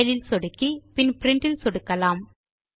file ல் சொடுக்கி பின் பிரின்ட் ல் சொடுக்கலாம்